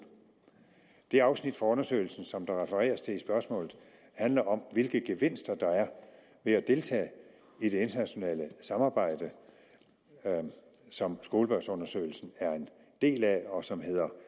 det afsnit i undersøgelsen som der refereres til i spørgsmålet handler om hvilke gevinster der er ved at deltage i det internationale samarbejde som skolebørnsundersøgelsen er en del af og som hedder